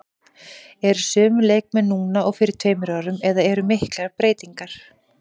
Eru sömu leikmenn núna og fyrir tveimur árum eða eru miklar breytingar?